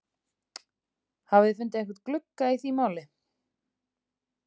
Hafið þið svona fundið einhvern glugga í því máli?